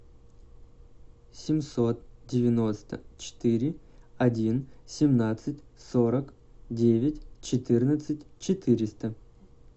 семьсот девяносто четыре один семнадцать сорок девять четырнадцать четыреста